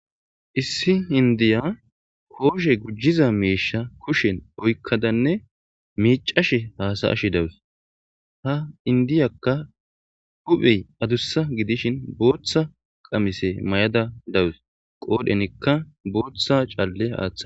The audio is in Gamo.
Issi indiya koshe imiza meshe kusheni oyikada miccashe dawusu izis hupheyi adussa gidishin botha qamise maya uttasi botha caleza atha utasi